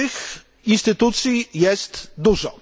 Tych instytucji jest dużo.